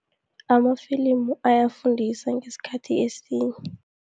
Amafilimu ayafundisa ngesikhathi esinye.